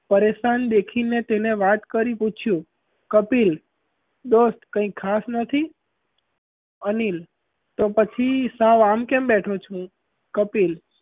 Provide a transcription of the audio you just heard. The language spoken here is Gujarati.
પરેશાન દેખી ને તેને વાત કરી પૂછ્યું કપિલ દોસ્ત કઈ ખાસ નથી અનિલ તો પછી સાવ આમ કેમ બેઠો છું? કપિલ,